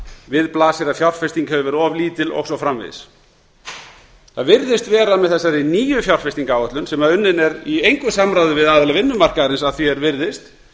við blasir að fjárfesting hefur verið of lítil og svo framvegis það virðist vera með þessari nýju fjárfestingaráætlun sem unnin er í engu samráði við aðila vinnumarkaðarins að því er virðist